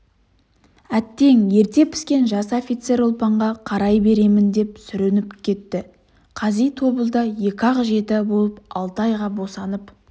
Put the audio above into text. әттең ерте піскен жас офицер ұлпанға қарай беремін деп сүрініп кетті қази тобылда екі-ақ жеті болып алты айға босанып